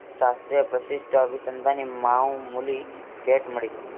શાસ્ત્રીય પ્રશિષ્ટ અભિસંધાન ની માવુમુલી ભેટ મળી.